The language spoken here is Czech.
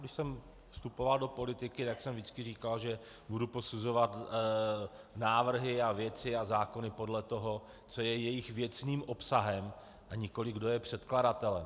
Když jsem vstupoval do politiky, tak jsem vždycky říkal, že budu posuzovat návrhy a věci a zákony podle toho, co je jejich věcným obsahem, a nikoli kdo je předkladatelem.